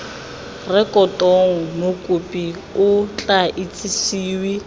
rekotong mokopi o tla itsisiwe